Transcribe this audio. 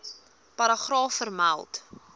paragraaf vermeld